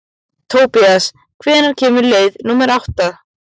Tobías, hvenær kemur leið númer átta?